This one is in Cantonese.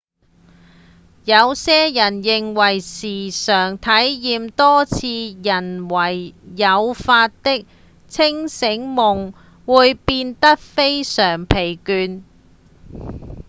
有些人認為時常體驗多次人為誘發的清醒夢會變得非常疲倦